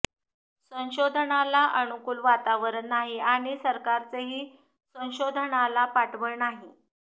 संशोधनाला अनुकूल वातावरण नाही आणि सरकारचेही संशोधनाला पाठबळ नाही